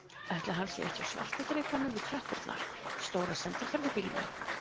Ætli hann sé ekki á svarta drekanum við tröppurnar, stóra sendiferðabílnum.